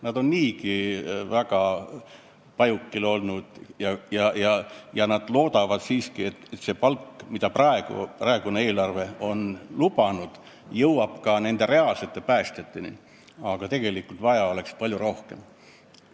Nad on ikka väga näljapajukil olnud ja loodavad nüüd, et see palgatõus, mida praegune eelarve on lubanud, jõuab reaalsete päästjateni, aga tegelikult vaja oleks palju rohkem.